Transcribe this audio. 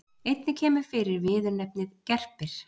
Einnig kemur fyrir viðurnefnið gerpir.